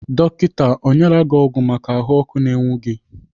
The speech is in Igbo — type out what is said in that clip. Dọkita ọ nyela gị ọgwụ maka ahụọkụ na-enwu gị?